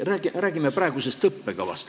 Räägime praegusest õppekavast.